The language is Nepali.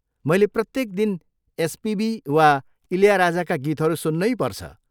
मैले प्रत्येक दिन एसपिबी वा इल्याराजाका गीतहरू सुन्नैपर्छ।